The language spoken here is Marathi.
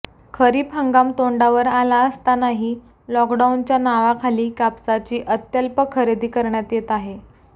खरीप हंगाम तोंडावर आला असतांनाही लॉकडाऊनच्या नावाखाली कापसाची अत्यल्प खरेदी करण्यात येत आहे